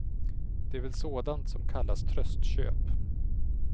Det är väl sådant som kallas tröstköp.